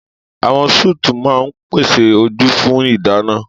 Àwọn sùùtù máa ń pèsè ojú fún ìdáná.